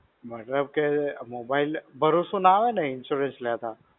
મતલબ કે આ mobile ભરોસો ના આવેને insurance લેતા.